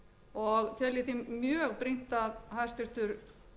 og tel ég því mjög brýnt að hæstvirtur